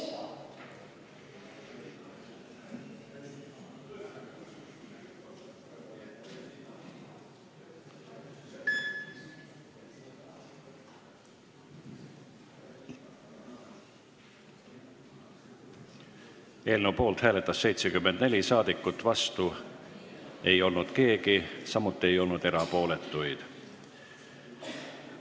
Hääletustulemused Eelnõu poolt hääletas 74 rahvasaadikut, vastu ei olnud keegi, samuti ei olnud erapooletuid.